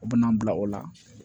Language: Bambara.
U bɛna n bila o la